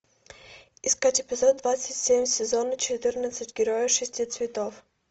искать эпизод двадцать семь сезона четырнадцать герои шести цветов